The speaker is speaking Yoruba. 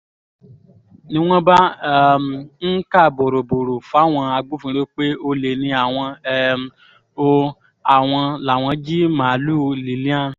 ni wọ́n bá um ń kà bórobòro fáwọn agbófinró pé olè ni àwọn um o àwọn làwọn jí màálùú lillian